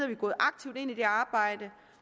vi gået aktivt ind i det arbejde